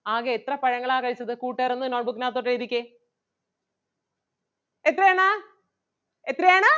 ആകെ എത്ര പഴങ്ങളാ കഴിച്ചത് കൂട്ടുകാരൊന്ന് note book നാത്തോട്ട് എഴുതിക്കേ. എത്രയാണ് എത്രയാണ്?